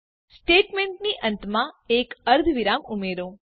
સ્ટેટમેંટની અંતમાં એક અર્ધવિરામ ઉમેરો